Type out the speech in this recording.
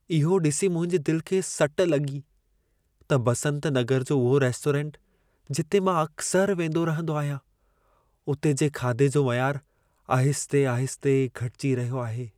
इहो ॾिसी मुंहिंजे दिल खे सट लॻी त बसंत नगर जो उहो रेस्टोरंट जिते मां अक्सर वेंदो रहंदो आहियां, उते जे खाधे जो मयारु आहिस्ते -आहिस्ते घटिजी रहियो आहे।